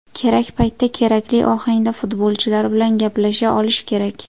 Kerak paytda, kerakli ohangda futbolchilar bilan gaplasha olish kerak.